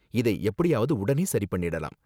இதை எப்படியாவது உடனே சரி பண்ணிடலாம்.